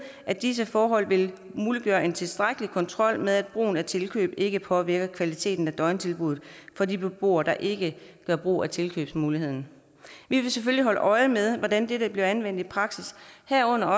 at disse forhold vil muliggøre en tilstrækkelig kontrol med at brugen af tilkøb ikke påvirker kvaliteten af døgntilbuddet for de beboere der ikke gør brug af tilkøbsmuligheden vi vil selvfølgelig holde øje med hvordan dette bliver anvendt i praksis herunder